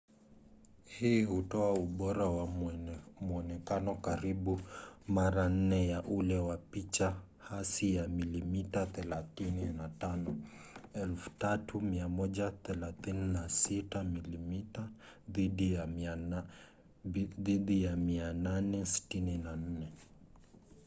hii hutoa ubora wa mwonekano karibu mara nne ya ule wa picha hasi ya milimita 35 3136 mm2 dhidi ya 864